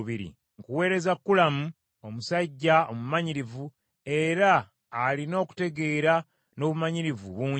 “Nkuweereza Kulamu omusajja omumanyirivu, era alina okutegeera n’obumanyirivu bungi,